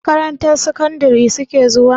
Makarantar sakandari su ke zuwa?